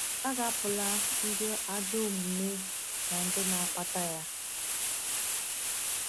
A ga-apụla ndị ajọ omume na ndị na-akpata ya.